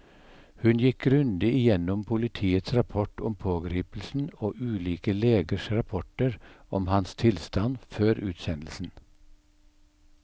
Hun gikk grundig gjennom politiets rapport om pågripelsen og ulike legers rapporter om hans tilstand før utsendelsen.